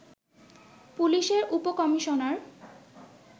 পুলিশের উপ-কমিশনার